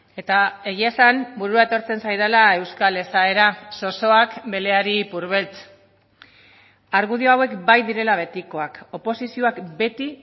eta egia esan burua etortzen zaidala euskal esaera zozoak beleari ipurbeltz argudio hauek bai direla betikoak oposizioak beti